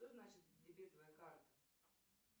что значит дебетовая карта